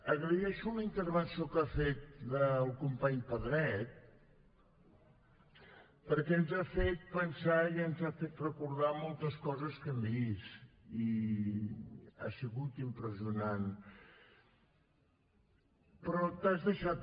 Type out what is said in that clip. agraeixo la intervenció que ha fet el company pedret perquè ens ha fet pensar i ens ha fet recordar moltes coses que hem vist i ha sigut impressionant però t’has deixat